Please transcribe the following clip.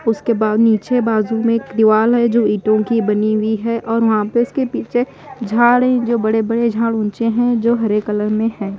उसके बाद नीचे बाजू में एक दीवाल है जो ईटों की बनी हुई है और वहां पे उसके पीछे झाड़ हैं जो बड़े बड़े झाड़ ऊंचे हैं जो हरे कलर में हैं।